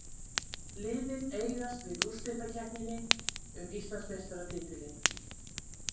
Liðin eigast við úrslitakeppninni um Íslandsmeistaratitilinn